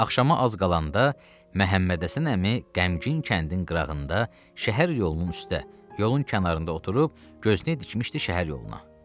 Axşama az qalanda Məhəmməd Həsən əmi qəmgin kəndin qırağında, şəhər yolunun üstdə, yolun kənarında oturub, gözləyirdi, düşmüşdü şəhər yoluna.